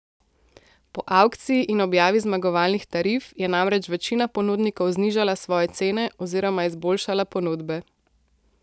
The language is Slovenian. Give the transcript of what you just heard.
Po avkciji in objavi zmagovalnih tarif je namreč večina ponudnikov znižala svoje cene oziroma izboljšala ponudbe.